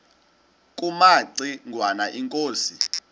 kumaci ngwana inkosi